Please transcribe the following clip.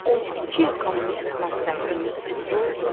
12 il Kommunist Partiyasının üzvü oldu.